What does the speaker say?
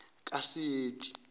kaseti